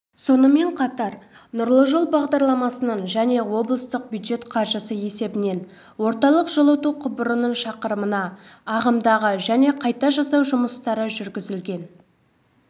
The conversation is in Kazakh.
сонымен қатар нұрлы жол бағдарламасының және облыстық бюджет қаржысы есебінен орталық жылыту құбырының шақырымына ағымдағы және қайта жасау жұмыстары жүргізілген